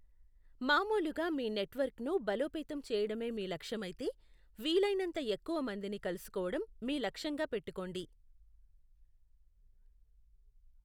మామూలుగా మీ నెట్వర్క్ను బలోపేతం చేయడమే మీ లక్ష్యమైతే, వీలైనంత ఎక్కువ మందిని కలుసుకోవడం మీ లక్ష్యంగా పెట్టుకోండి.